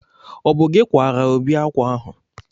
ọ bụ gị kwaara Obi akwa ahụ